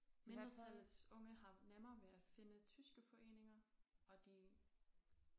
Mindretallets unge har nemmere ved at finde tyske foreninger og de